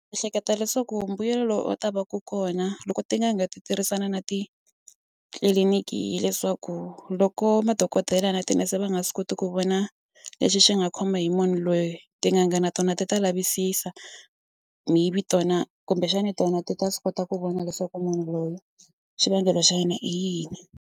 Ni ehleketa leswaku mbuyelo lowu u ta vaku kona loko tin'anga ti tirhisana na titliliniki hileswaku loko madokodela na tinese va nga swi koti ku vona lexi xi nga khomiwa hi munhu loyi tin'anga na tona ti ta lavisisa maybe tona kumbexana tona ti ta swi kota ku vona leswaku munhu loyi xivangelo xa yena i yini.